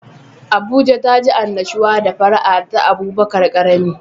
Abuja taji annashuwa da fara'a ta Abubakar karami.